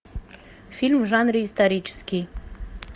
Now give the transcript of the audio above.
фильм в жанре исторический